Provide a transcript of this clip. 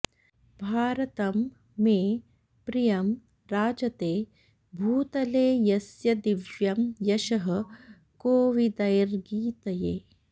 भारतं मे प्रियं राजते भूतले यस्य दिव्यं यशः कोविदैर्गीयते